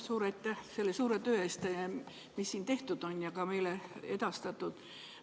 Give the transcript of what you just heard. Suur aitäh selle suure töö eest, mis siin tehtud ja ka meile edastatud on!